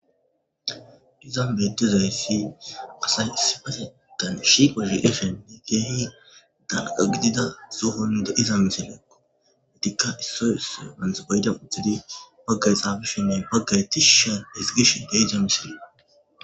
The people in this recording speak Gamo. Iza bedezayssi asay issifasetan shiqoshi eshenne geehi danqa gidida sohonnida iza misileekko adikka issoy so manthbayda uddidi baggay xaabishinne baggay tishu shan hisgish geeyga misili.